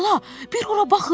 Xala, bir ora baxın,